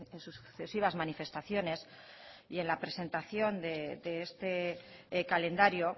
en sus sucesivas manifestaciones y en la presentación de este calendario